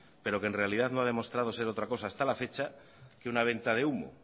pero que en realidad no ha demostrado ser otra cosa hasta la fecha que una venta de humo